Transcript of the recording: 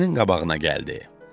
Sinfinin qabağına gəldi.